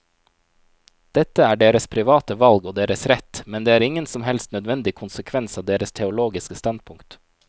Dette er deres private valg og deres rett, men det er ingen som helst nødvendig konsekvens av deres teologiske standpunkt.